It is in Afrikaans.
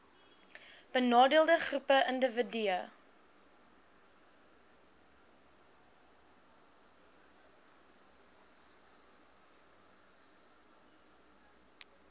benadeelde groepe indiwidue